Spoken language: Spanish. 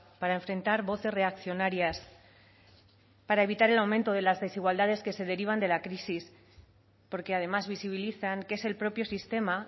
para enfrentar voces reaccionarias para evitar el aumento de las desigualdades que se derivan de la crisis porque además visibilizan que es el propio sistema